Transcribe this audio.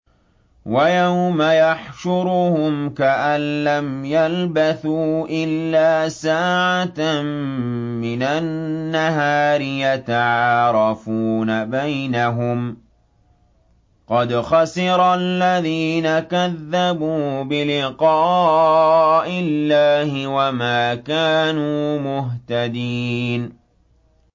وَيَوْمَ يَحْشُرُهُمْ كَأَن لَّمْ يَلْبَثُوا إِلَّا سَاعَةً مِّنَ النَّهَارِ يَتَعَارَفُونَ بَيْنَهُمْ ۚ قَدْ خَسِرَ الَّذِينَ كَذَّبُوا بِلِقَاءِ اللَّهِ وَمَا كَانُوا مُهْتَدِينَ